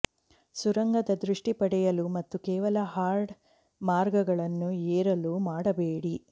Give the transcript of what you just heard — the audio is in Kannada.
ಸುರಂಗದ ದೃಷ್ಟಿ ಪಡೆಯಲು ಮತ್ತು ಕೇವಲ ಹಾರ್ಡ್ ಮಾರ್ಗಗಳನ್ನು ಏರಲು ಮಾಡಬೇಡಿ